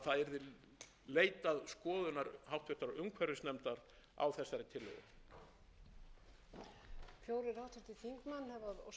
ég að það væri líka heppilegt fyrir framvindu málsins í þinginu að það yrði leitað skoðunar háttvirtur umhverfisnefndar á þessari tillögu